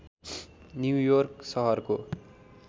New York सहरको